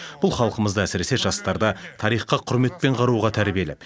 бұл халқымызды әсіресе жастарды тарихқа құрметпен қарауға тәрбиелеп